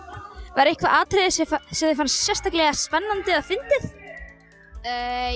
var eitthvað atriði sem sem þér fannst sérstaklega spennandi eða fyndið